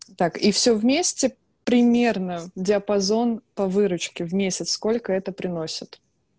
так и всё вместе примерно диапазон по выручке в месяц сколько это приносит